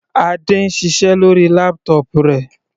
Adé ń ṣiṣẹ́ lórí laptop rẹ̀.